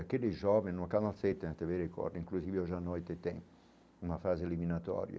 Aqueles jovens não acabam de, inclusive hoje a noite tem uma fase eliminatória.